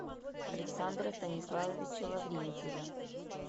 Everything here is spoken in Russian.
александра станиславовича лаврентьева